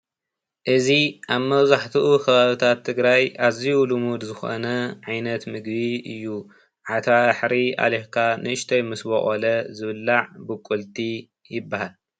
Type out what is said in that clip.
አዚ ኣብ መብዛሕትኡ ኸባብታት ትግራይ ኣዝዩ ሉሙድ ዝኾነ ዓይነት ምግቢ እዩ፡፡ ዓተባሕሪ ኣሊኽካ ንእሽተይ ምስ ቦቖለ ዝብላዕ ቡቁልቲ ይብሃል፡፡